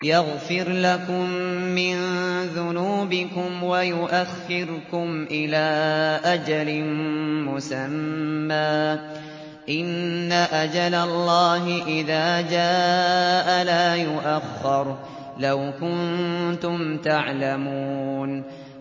يَغْفِرْ لَكُم مِّن ذُنُوبِكُمْ وَيُؤَخِّرْكُمْ إِلَىٰ أَجَلٍ مُّسَمًّى ۚ إِنَّ أَجَلَ اللَّهِ إِذَا جَاءَ لَا يُؤَخَّرُ ۖ لَوْ كُنتُمْ تَعْلَمُونَ